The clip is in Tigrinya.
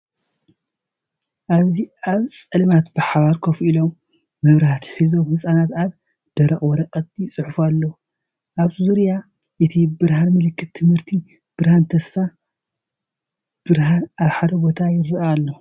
ኣብዚ ኣብ ጸልማት ብሓባር ኮፍ ኢሎም መብራህቲ ሒዞም ህጻናት ኣብ ደረቕ ወረቐት ይጽሕፉ ኣለዉ። ኣብ ዙርያ እቲ ብርሃን ምልክት ትምህርትን ብርሃን ተስፋን ብሓባር ኣብ ሓደ ቦታ ይረአ ኣሎ።